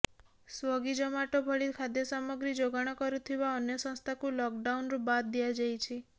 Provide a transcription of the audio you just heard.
ସ୍ୱଗି ଜମାଟୋ ଭଳି ଖାଦ୍ୟ ସାମଗ୍ରୀ ଯୋଗାଣ କରୁଥିବା ଅନ୍ୟ ସଂସ୍ଥାକୁ ଲକ୍ଡାଉନ୍ରୁ ବାଦ୍ ଦିଆଯାଇଛି